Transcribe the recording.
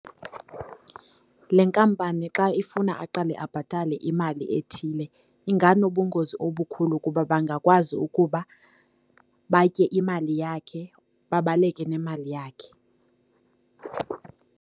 Le nkampani xa ifuna aqale abhatale imali ethile inganobungozi obukhulu kuba bangakwazi ukuba batye imali yakhe, babaleke nemali yakhe.